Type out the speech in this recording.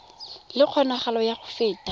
le kgonagalo ya go feta